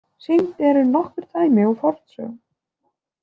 Sýnd eru nokkur dæmi úr fornsögum.